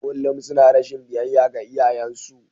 Kullum suna rashin biyayya ga iyayensu.